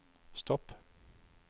stopp